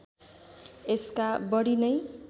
यसका बढी नै